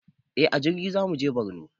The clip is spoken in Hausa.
Eh a jirgi zamuje borno